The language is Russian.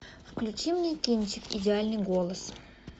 включи мне кинчик идеальный голос